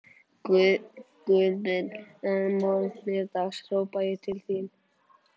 Guð minn, að morgni dags hrópa ég til þín